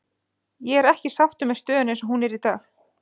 Ég er ekki sáttur með stöðuna eins og hún er í dag.